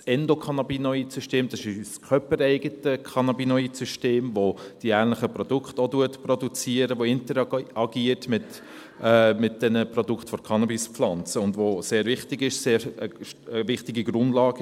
Das Endocannabinoid-System ist unser körper- eigenes Cannabinoid-System, das ähnliche Produkte produziert, das mit den Produkten der Cannabispflanze interagiert, und es ist sehr wichtig, es ist eine sehr wichtige Grundlage.